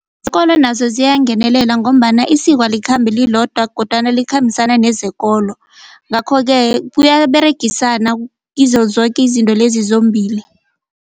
Isikolo naso siyangenelela ngombana isiko alikhambi lilodwa kodwana likhambisana nezekolo ngakho-ke kuyaberegisana kizo zoke izinto lezi zombili.